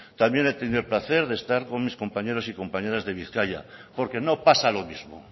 también he tenido el placer de estar con mis compañeros y compañeras de bizkaia porque no pasa lo mismo